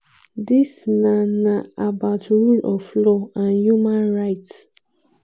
"dis na na about rule of law and human rights."